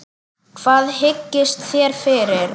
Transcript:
Hvað hyggist þér fyrir?